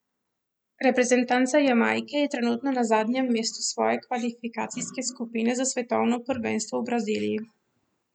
Reprezentanca Jamajke je trenutno na zadnjem mestu svoje kvalifikacijske skupine za svetovno prvenstvo v Braziliji.